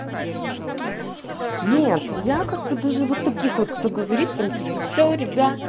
нет я как бы даже вот таких вот кто говорит там типа все ребят